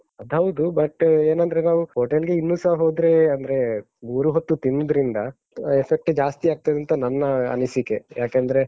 ಅದ್‍ ಹೌದು but , ಏನಂದ್ರೆ ನಾವು hotel ಗೆ ಇನ್ನುಸ ಹೋದ್ರೆ, ಅಂದ್ರೆ ಮೂರೂ ಹೊತ್ತು ತಿನ್ನುದ್ರಿಂದ, ಆ effect ಜಾಸ್ತಿ ಆಗ್ತದಂತ ನನ್ನ ಅನಿಸಿಕೆ ಯಾಕಂದ್ರೆ.